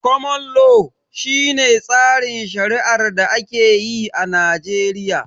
Koman lo, shi ne tsarin shari'ar da ake yi a Najeriya